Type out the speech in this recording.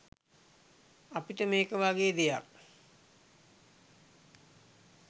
අපිට මේක වගේ දෙයක්